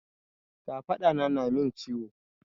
Kafaɗa na na min ciwo.